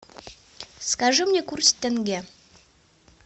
скажи мне курс тенге